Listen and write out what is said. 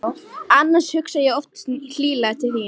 Annars hugsa ég oftast hlýlega til þín.